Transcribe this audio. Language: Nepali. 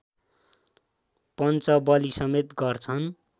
पञ्चबलिसमेत गर्छन्